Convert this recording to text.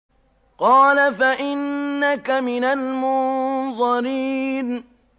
قَالَ فَإِنَّكَ مِنَ الْمُنظَرِينَ